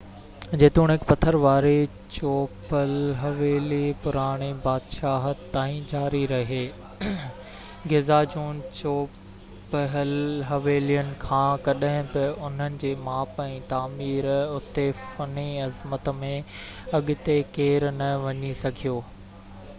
جيتوڻيڪ پٿر واري چوپهل-حويلي پراڻي بادشاهت تائين جاري رهي گزا جون چوپهل حويلين کان ڪڏهن به انهن جي ماپ ۽ تعميراتي فني عظمت ۾ اڳتي ڪير نه وڌي سگهيو